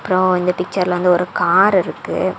அப்புறம் இந்த பிச்சர்ல வந்து ஒரு கார் இருக்கு.